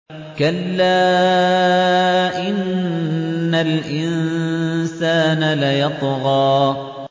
كَلَّا إِنَّ الْإِنسَانَ لَيَطْغَىٰ